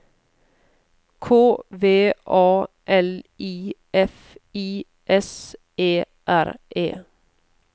K V A L I F I S E R E